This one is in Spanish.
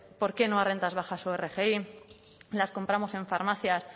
por qué no a rentas bajas o rgi las compramos en farmacias